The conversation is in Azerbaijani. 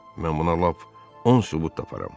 Mən buna lap on sübut taparam.